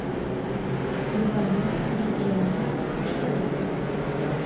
левани евгеньевна кушнарева